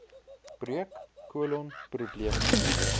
breuk kolon probleme